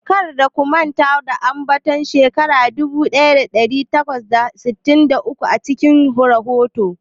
Kar ku manta da ambaton shekara dubu daya dari takwas da sittin da uku a cikin rahoton ku.